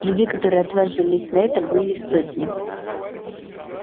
людей которые отважились на это были сотни